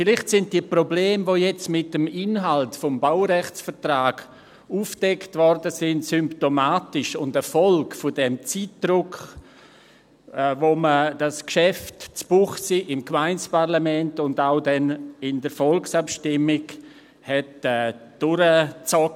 Vielleicht sind die Probleme, die jetzt mit dem Inhalt des Baurechtsvertrags aufgedeckt wurden, symptomatisch und eine Folge des Zeitdrucks, mit dem man dieses Geschäft in Münchenbuchsee im Gemeindeparlament und dann auch in der Volksabstimmung durchzog.